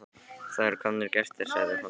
Það eru komnir gestir, sagði hún.